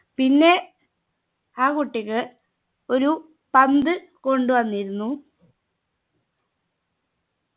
പിന്നെ ആ കുട്ടിക് ഒരു പന്ത് കൊണ്ടുവന്നിരുന്നു